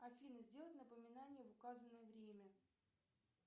афина сделать напоминание в указанное время